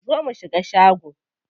Zo mu shiga shago.